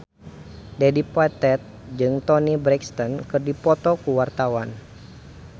Dedi Petet jeung Toni Brexton keur dipoto ku wartawan